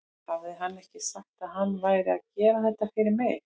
Hafði hann ekki sagt að hann væri að gera þetta fyrir mig?